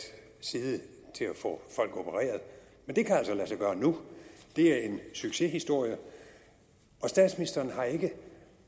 side til at få folk opereret men det kan altså lade sig gøre nu det er en succeshistorie statsministeren har ikke